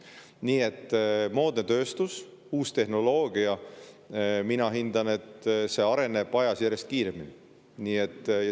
Nii et moodne tööstus, uus tehnoloogia – mina hindan, et kõik see areneb ajas järjest kiiremini.